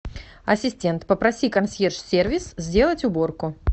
ассистент попроси консьерж сервис сделать уборку